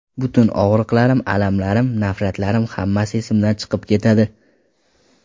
Butun og‘riqlarim, alamlarim, nafratlarim hammasi esimdan chiqib ketadi.